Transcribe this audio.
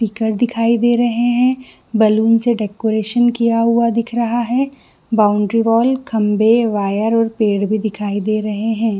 बिक्कट दिखाई दे रहै है बैलून से डेकोरेशन किया हुआ दिख रहा है बॉउंड्री वाल खम्बे वायर और पेड़ भी दिखाई दे रहै है।